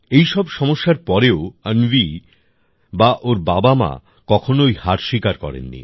এই সব সমস্যার পরেও অন্বি বা ওর বাবামা কখনোই হার স্বীকার করেননি